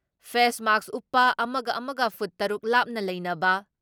face ꯃꯥꯛꯁ ꯎꯞꯄ ꯑꯃꯒ ꯑꯃꯒ ꯐꯨꯠ ꯇꯔꯨꯛ ꯂꯥꯞꯅ ꯂꯩꯅꯕ,